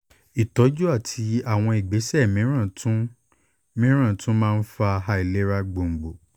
ìtọ́jú àti àwọn ìgbésẹ̀ mìíràn tún mìíràn tún máa ń fa àìlera gbòǹgbò